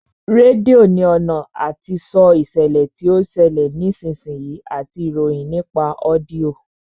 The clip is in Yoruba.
Rédíò ní ọ̀nà àti sọ ìṣẹ̀lẹ̀ tí ó ń ṣẹlẹ̀ ní ìsinsìnyí àti ìròyìn nípa ọ́díọ̀